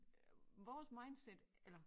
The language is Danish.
Vores mindset eller